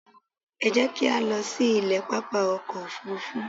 Ẹ jẹ́ kí á lọ sí ilé pápá ọkọ̀ Òfurufú.